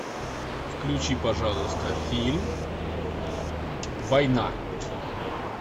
включи пожалуйста фильм война